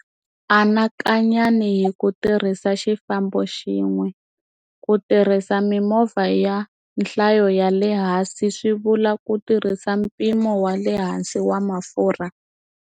Anakanyani hi ku tirhisa xifambo xin'we. Ku tirhisa mimovha ya nhlayo ya le hansi swi vula ku tirhisa mpimo wa le hansi wa mafurha.